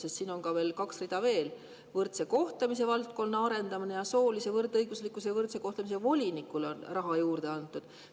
Sest siin on veel kaks rida: võrdse kohtlemise valdkonna arendamisele ja soolise võrdõiguslikkuse ja võrdse kohtlemise volinikule on raha juurde antud.